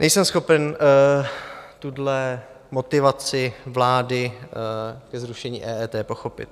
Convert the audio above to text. Nejsem schopen tuhle motivaci vlády ke zrušení EET pochopit.